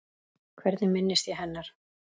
Hvernig minnist ég hennar?